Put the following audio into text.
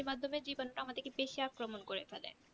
পানির মাধ্যমে জীবাণুরা আমাদেরকে বেশি আক্রমণ করতে পারে